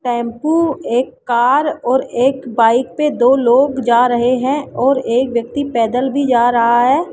Tempo एक car और एक बाइक पे दो लोग जा रहे हैं और एक व्यक्ति पैदल भी जा रहा है।